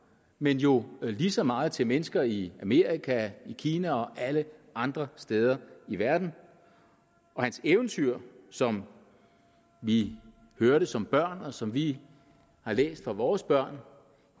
men jo lige så meget til mennesker i amerika kina og alle andre steder i verden og hans eventyr som vi hørte som børn og som vi har læst for vores børn